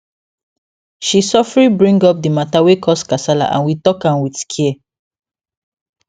she sofri bring up the mata wey cause kasala and we talk am with care